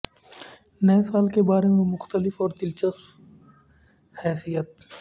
نئے سال کے بارے میں مختلف اور دلچسپ حیثیت